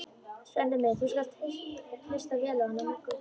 Svenni minn, þú skalt hlusta vel á hana Möggu.